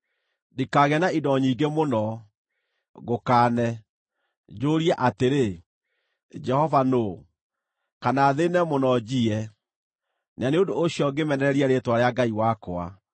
Ndikaagĩe na indo nyingĩ mũno, ngũkaane, njũũrie atĩrĩ, ‘Jehova nũũ?’ Kana thĩĩne mũno, njiye, na nĩ ũndũ ũcio ngĩmenererie rĩĩtwa rĩa Ngai wakwa.